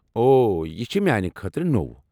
اوہ، یہ چھ میٛانہ خٲطرٕ نوٚو۔